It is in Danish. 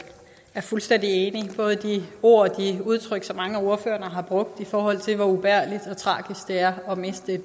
er fuldstændig enig både i de ord og de udtryk som mange ordførere har brugt i forhold til hvor ubærligt og tragisk det er at miste